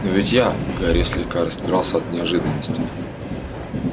но ведь я гарри слегка растерялся от неожиданности